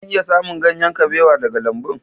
Zan iya samun ganyen kabewa daga lambun?